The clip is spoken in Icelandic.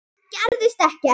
Enn gerðist ekkert.